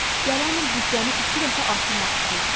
Gələn il büdcəmi iki dəfə artırmaq istəyirəm.